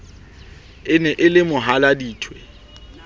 e ne e le mohaladitwe